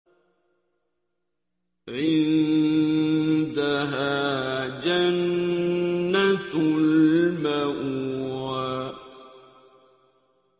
عِندَهَا جَنَّةُ الْمَأْوَىٰ